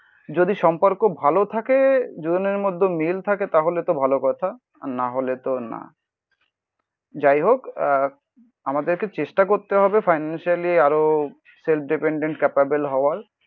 যদি সম্পর্ক ভালো থাকে দুজনের মধ্যে মিল থাকে তাহলে তো ভালো কথা. আর না হলে তো না. যাই হোক আমাদেরকে চেষ্টা করতে হবে ফিনানশিয়ালি আরো সেলফ ডিপেন্ডেন্ট ক্যাপাবেল হবার